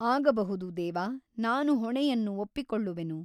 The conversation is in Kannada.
ಆಗಬಹುದು ದೇವ ನಾನು ಹೊಣೆಯನ್ನು ಒಪ್ಪಿಕೊಳ್ಳುವೆನು.